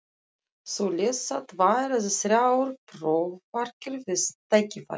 Þú lest þá tvær eða þrjár prófarkir við tækifæri.